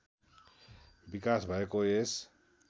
विकास भएको यस